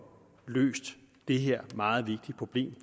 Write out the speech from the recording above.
løst det her meget vigtige problem